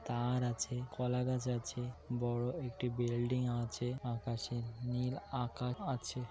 তার আছে কলা গাছ আছে বড় একটি বিল্ডিং আছে আকাশে নীল আকা-- আছে।